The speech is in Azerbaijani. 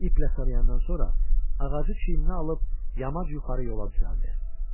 İplə sarıyandan sonra ağacı çiyninə alıb yamac yuxarı yola düzəldi.